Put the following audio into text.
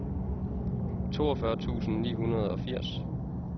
toogfyrre tusind ni hundrede og firs